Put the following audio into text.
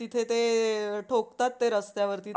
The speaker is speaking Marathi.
ती ह ते ठोकतात ते रस्त्यावरती